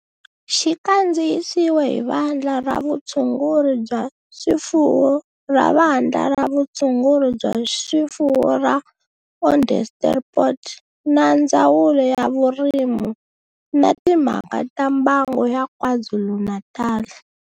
Xi kandziyisiwe hi Vandla ra Vutshunguri bya swifuwo ra Vandla ra Vutshunguri bya swifuwo ra Onderstepoort na Ndzawulo ya Vurimi na Timhaka ta Mbango ya KwaZulu-Natal.